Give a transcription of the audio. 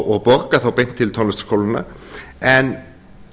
og borga þá beint til tónlistarskólanna en